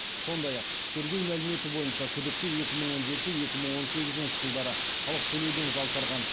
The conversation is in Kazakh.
сондай ақ тергеу мәліметі бойынша күдікті екі мың он жеті екі мың он сегізінші жылдары салық төлеуден жалтарған